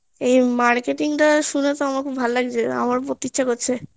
এই marketing টা শুনেতো আমার তো খুব ভালো লাগছে আমার করতে ইচ্ছে